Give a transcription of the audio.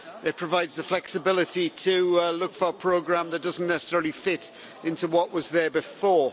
It provides the flexibility to look for a programme that doesn't necessarily fit into what was there before.